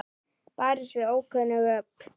Barist við ókunn öfl